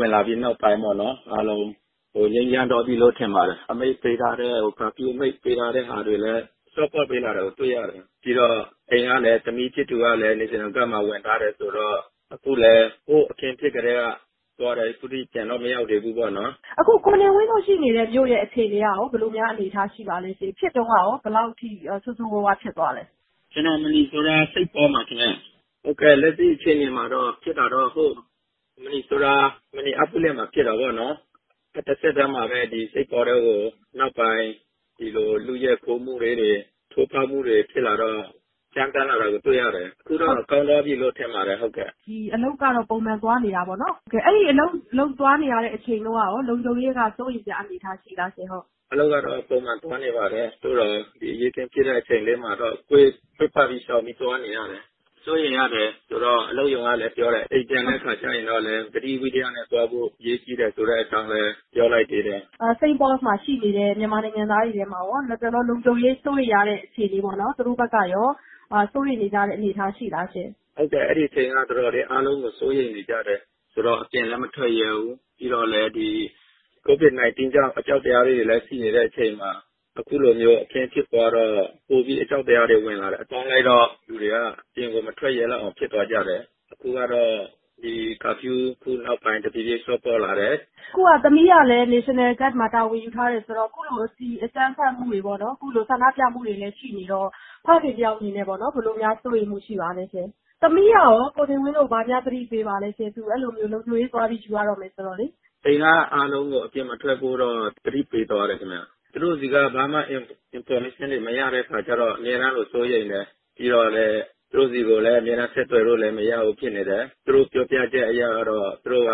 ဝင်လာပြီးနောက်ပိုင်း အခုအားလုံး ငြိမ်းချမ်းသွားပြီလို့ထင်ပါတယ်။ အမိန့်ပေးထားတဲ့ အခု ကာဖျူးအမိန့်ပေး ထားတာတွေကိုလည်း လျှော့ပေါ့ပေးလာတာကိုတွေ့ရတယ်။ ပြီးတော့ အခု အိမ်ကသမီးဖြစ်သူ National Guard က ဝင်ထားတယ်ဆိုတော့ အခုလည်း ဟိုးအခင်းဖြစ်ကတည်းက သွားတာ အခုထက်ထိပြန်တော့ မရောက်သေးဘူးပေါ့နော်။ အခုကိုနေဝင်းတို့နေတဲ့မြို့ကရော ဘယ်လိုများအနေအထားရှိပါသလဲရှင့်။ ဖြစ်တုန်းကရော ဘယ်လောက်အထိ ဆိုးဆိုးဝါးဝါးဖြစ်သွားလဲ။ ကျနော်နေတာက Minnesota ပြည်နယ်ထဲ-က St. Paul မြို့မှာပါခင်ဗျ။ အခုလက်ရှိအခြေအနေမှာ-စဖြစ်တုန်းကတော့ ဟိုး Minnesota ပြည်နယ်ထဲက Minneapolis ဖြစ်တာပေါ့ နောက် တဆက်တည်းပါပဲ နောက်ပိုင်း St. Paul မြို့ထဲ ဆက်လာပြီးတော့ လုယက်ခိုးဖောက်မှုတွေနဲ့ ကြမ်းတမ်းလာတာတွေကို တွေ့ရတယ် အခုတော့ ကောင်းသွားပြီလို့ ထင်ပါတယ်။ အဲ့တော့ အခုကတော့ ကိုနေဝင်းက ပုံမှန်အလုပ်ဆင်းနေတာပဲပေါ့နော်။ အဲ့ဒီ့လို အလုပ်သွားနေရတဲ့ အချိန်တုန်းကရော လုံခြုံရေးက စိုးရိမ်စရာအနေအထားရှိလားရှင်။ အလုပ်ကတော့ ပုံမှန်ပဲ ကျနော်သွားရပါတယ် သို့သော် အဲ့သလို ဒီ အရေးအခင်းဖြစ်တဲ့ အချိန်တုန်းကတော့ ကွေ့ပတ် ရှောင်ကွင်းပြီး သွားရပါတယ်။ လုံခြုံရေးကတော့ စိုးရိမ်ရတယ် အိမ်ပြန်တဲ့အခါကျတော့လေ။ အလုပ်ရုံကလည်းပြောတယ်။ အိမ်ပြန်တဲ့အခါကျရင် သတိဝီရိယနဲ့ ပြန်ဖို့ အရေးကြီးတယ်ဆိုတဲ့အကြောင်းလည်း ပြောလိုက်တယ်။ အခု ရော St. Paul မြို့မှာရှိတဲ့ မြန်မာနိုင်ငံသားတွေထဲမှာရော လတ်တလော လုံခြုံရေးစိုးရိမ်ရတဲ့အခြေအနေရှိလား။ နောက် သူတို့ရော စိုးရိမ်နေကြတဲ့အနေအထားရှိလားရှင့်။ ဟုတ်ကဲ့ အဲ့ဒီ့အချိန်တုန်းက အားလုံးပဲ အရမ်းစိုးရိမ်နေကြတာ။ ပြီးတော့ ဘယ်သူမှ အပြင်မထွက်ရဲဘူး။ ပြီးတော့လည်း ဒီCOVID-19 ကြောင့် အကြောက်တရားတွေလည် း ရှိနေကြတဲ့အချိန် အခုလိုအရေးအခင်းဖြစ်တော့ ပိုပြီးတော့ အကြောက်တရား ဝင်လာတာ။ အဲ့လိုမျိုး ပေါင်းလိုက်တော့ လူတွေက ဘယ်သူမှ အပြင်မထွက်ရဲကြတော့လောက်အောင် ဖြစ်သွားကြတယ်။ အခုကတော့ ကာဖျူးအမိန့်ပေးတာ အခုနောက်ပိုင်း တဖြေးဖြေး လျှော့ပေါ့လာတယ်။ အခုက သမီးကလည်း National Guard မှာ တာဝန်ထမ်းဆောင်နေတယ်။ အခုလို ဆန္ဒပြမှုတွေ အကြမ်းဖက်မှုတွေလည်း ရှိနေတော့ ဖခင်တဦးအနေနဲ့ရော -ဘယ်လိုစိုးရိမ်မှုရှိပါလဲ။ သမီးကရော မိသားစုကို ဘာတွေများသတိပေးပါလဲ သူ့အနေနဲ့ လုံခြုံရေးသွားရတော့မယ်အချိန်။ အိမ်ကမိသားစုအားလုံးကို အပြင်လုံးဝမထွက်ဖို့ သူ သတိပေးသွားတယ်။သူတို့ဆီက ဘာInformation သတင်းမှ မရတော့ အမြဲတမ်းလို သူ့ကိုစိုးရိမ်တယ်။ တာဝန်ချိန်မှာ သူ့ကို ဘယ်လိုမှဆက်သွယ်လို့မရဘူးဖြစ်နေတယ် ဒါပေမဲ့သူတို့ပြောပြချက် အရတော့-သူက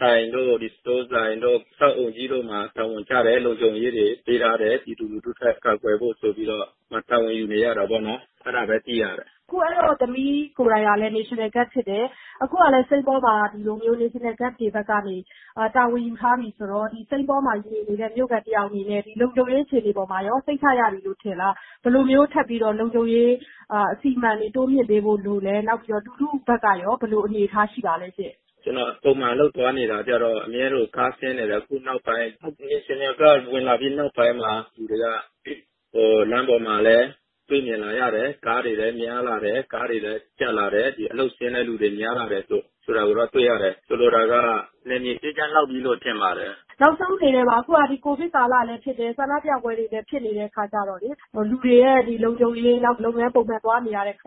ဆိုင်တွေ စတိုးလ်ဆိုင်တွေ ကုန်တိုက်တွေ အဆောက်အဦးကြီးတွေမှာလုံခြုံရေးတာဝန်ပေးထားတယ် ပြည်သူလူထုအတွက် ကာကွယ်ဖို့ဆိုပြီး သူ တာဝန်ယူနေရတာပေါ့နော်။ အဲ့လောက်ပဲသိရတယ်။ အခု အဲ့တော့ သမီးဖြစ်သူကိုယ်တိုင်ကလည်း National Guard ဖြစ်တယ်။ အခုကလည်း ဒီ St. Paul မြို့မှာ ဒီလိုမျိုး National Guard တွေဘက်က လုံခြုံရေးတာဝန်ယူထားတယ်ဆိုတော့ St. Paul မြို့မှာနေတဲ့ မြို့ခံတယောက်အနေနဲ့ဒီလုံခြုံရေးအခြေအနေက စိတ်ချရပြီလို့ထင်လား။ ထပ်ပြီးဘယ်လို လုံခြုံရေးအစီအမံတွေ တိုးမြှင့်ပေးဖို့လိုလည်း။ အခုလက်ရှိ အနေအထားကရော ဘယ်လိုရှိပါလဲရှင့်။ ကျနော်ကတော့ ပုံမှန်အလုပ်သွားရတဲ့အချိန် ကားကအမြဲရှင်းတယ် ဒါပေမဲ့ အခု St. Paul မြို့မှာ National Guard တွေ ဝင်လာပြီးတဲ့နောက်ပိုင်း လူတွေက လမ်းပေါ်မှာ တွေ့မြင်လာရတယ် ကားတွေလည်း များလာတယ်။ ကားတွေလည်း ကျပ်လာတယ် အလုပ်ဆင်းတဲ့သူတွေလည်း များလာတာကို တွေ့ရတယ်။ ဆိုလိုတာက နယ်မြေအေးချမ်း လောက်ပြီလို့ ထင်ပါတယ်။ နောက်ဆုံးအနေနဲ့ပါ အခုက ကိုဗစ်ကာလလည်းဖြစ်တယ် အခုဆန္ဒပြပွဲတွေလည်း ဖြစ်နေတယ်ဆိုတော့ လတ်တလောအနေအထားအပေါ်မှာ လူတွေရဲ့ လုံခြုံရေး လုပ်ငန်းခွင်တွေ ပုံမှန်သွားနေရတဲ့အခ